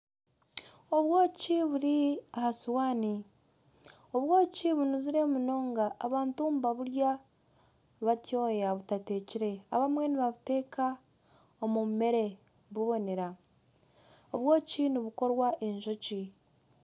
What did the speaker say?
Obwoki buri aha suwani, obwoki bunuzire munonga abantu nibaburya batyoya butatekire, abamwe, ni babuteeka omu mere bubonera. Obwoki nibukorwa Enjoki.